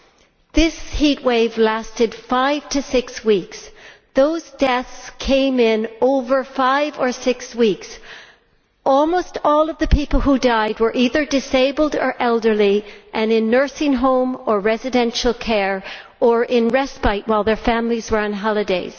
That heatwave lasted five to six weeks, and the deaths came over a period of five to six weeks. Almost all of the people who died were either disabled or elderly and in nursing homes or residential care, or in respite while their families were on holiday.